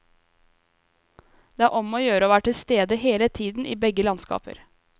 Det er om å gjøre å være til stede hele tiden i begge landskaper.